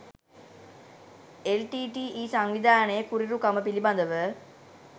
LTTE. සංවිධානයේ කුරිරුකම පිළිබඳව